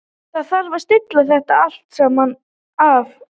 Það þarf að stilla þetta allt saman af.